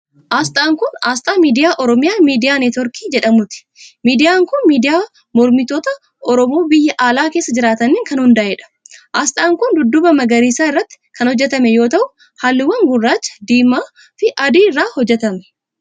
Asxaan kun, asxaa miidiyaa Oromiyaa Miidiyaa Niitwork jedhamuuti. Miidiyaan kun, miidiyaa mormitoota oromoo biyya alaa keessa jiraataniin kan hundaa'e dha. Asxaan kun, dudduuba magariisa irratti kan hojjatame yoo ta'u, haalluuwwan gurraacha, diimaa fi adii irraa hojjatame.